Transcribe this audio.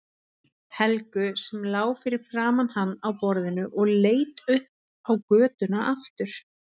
Helgu sem lá fyrir framan hann á borðinu og leit upp á götuna aftur.